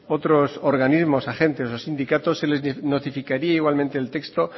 otros organismos agentes o sindicatos se les notificaría igualmente el texto